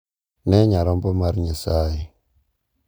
“Ne nyarombo mar Nyasaye ,.